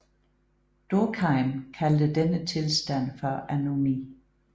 Durkheim kaldte denne tilstand for anomi